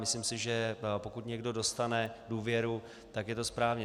Myslím si, že pokud někdo dostane důvěru, tak je to správně.